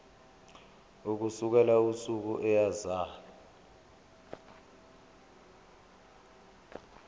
ukusukela usuku eyazalwa